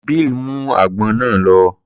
Bill mú àgbọn náà lọ.